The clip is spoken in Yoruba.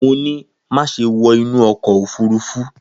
Mo ni, maṣe wọ inu ọkọ ofurufu!